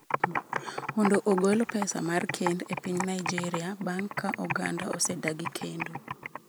mondo ogol pesa mar kend e piny Naijeria bang' ka oganda osedagi kendo.